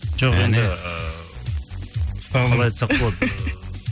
жоқ енді ыыы қалай айтсақ болды